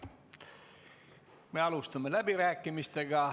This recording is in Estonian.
Me alustame läbirääkimisi.